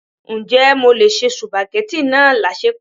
Ǹjẹ́ mo lè se supageti náà láṣẹpò?